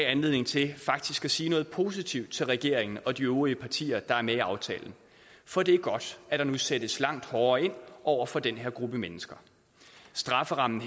anledning til at sige noget positivt til regeringen og de øvrige partier der er med i aftalen for det er godt at der nu sættes langt hårdere ind over for den her gruppe mennesker strafferammen